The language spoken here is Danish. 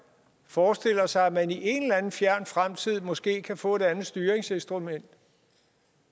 forestiller sig at man i en eller anden fjern fremtid måske kan få et andet styringsinstrument